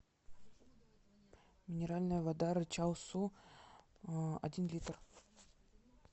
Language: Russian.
минеральная вода рычал су один литр